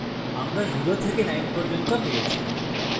আমরা 0 থেকে 9 পর্যন্ত পেয়েছি